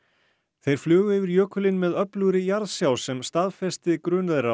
þeir flugu yfir jökulinn með öflugri jarðsjá sem staðfesti grun þeirra og